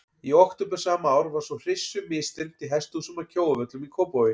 Í október sama ár var svo hryssu misþyrmt í hesthúsum að Kjóavöllum í Kópavogi.